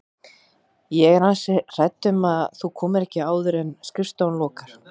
Ég er ansi hrædd um að þú komir ekki áður en skrifstofan lokar